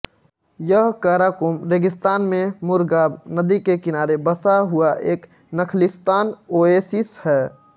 यह काराकुम रेगिस्तान में मुरग़ाब नदी के किनारे बसा हुआ एक नख़लिस्तान ओएसिस है